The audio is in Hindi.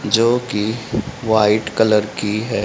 जोकि वाइट कलर की है।